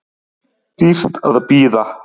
Dýrt að bíða